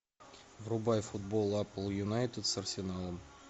врубай футбол апл юнайтед с арсеналом